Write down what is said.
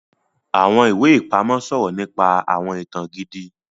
Awọn iwe-ipamọ sọrọ nípa awọn ìtàn gidi